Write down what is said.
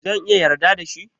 Zan iya yarda da shi?